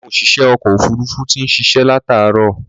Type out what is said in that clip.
Àwọn òṣìṣẹ́ ọkọ̀ òfuruufú ti ń ṣiṣẹ́ látààárọ̀.